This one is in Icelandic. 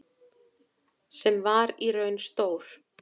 Sem var í raun stór